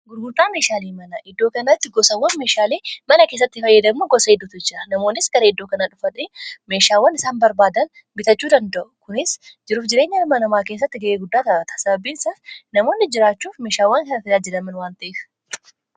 gurgurdaa meeshaalii mana iddoo kanatti gosawwan meeshaalii mana keessatti fayyadamma gosa idduutu jira namoonnis garee iddoo kana dhufata meeshaawwan isaan barbaadan bitachuu danda'u kunis jiruuf jireenya amanamaa keessatti ga'ee guddaa taata sababiinsaas namoonni jiraachuuf meeshaawwan kana tajaajjidaman wantaef